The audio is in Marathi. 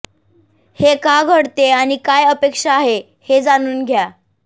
हे का घडते आणि काय अपेक्षा आहे हे जाणून घ्या